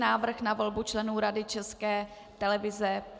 Návrh na volbu členů Rady České televize